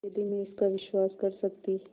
यदि मैं इसका विश्वास कर सकती